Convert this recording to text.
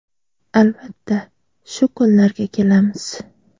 Albatta, shu kunlarga kelamiz.